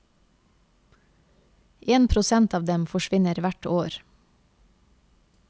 En prosent av dem forsvinner hvert år.